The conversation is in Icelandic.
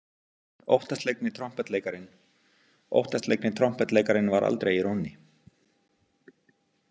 Óttaslegni trompetleikarinn Óttaslegni trompetleikarinn var aldrei í rónni.